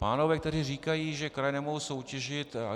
Pánové tady říkají, že kraje nemohou soutěžit.